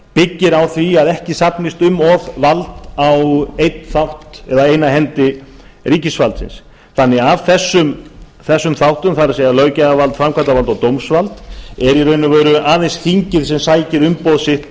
byggir á því að ekki safnist um of vald á einn þátt eða eina hendi ríkisvaldsins þannig að af þessum þáttum það er löggjafarvald framkvæmdarvald og dómsvald er í raun og veru aðeins þingið sem sækir umboð sitt